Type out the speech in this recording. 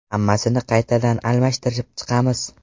Hammasini qaytadan almashtirib chiqamiz.